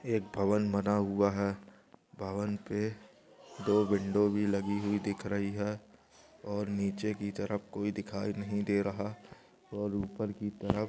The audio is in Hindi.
एक भवन बन हुआ है भवन पे दो विंडो भी बनी हुई दिख रही है। और नीचे की तरफ कोई दीखाई नहीं दे रहा और ऊपर की तरह--